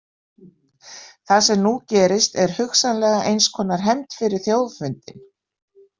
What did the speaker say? Það sem nú gerist er hugsanlega eins konar hefnd fyrir þjóðfundinn.